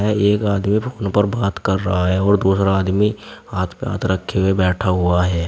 एक आदमी फोन पर बात कर रहा है और दूसरा आदमी हाथ पे हाथ रखे हुए बैठा हुआ है।